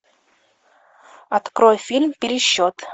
открой фильм пересчет